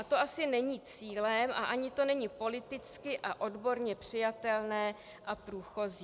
A to asi není cílem a ani to není politicky a odborně přijatelné a průchozí.